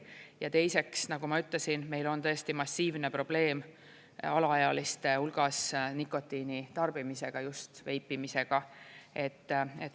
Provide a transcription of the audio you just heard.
Ja teiseks, nagu ma ütlesin, meil on tõesti massiivne probleem alaealiste hulgas nikotiini tarbimisega, just veipimisega.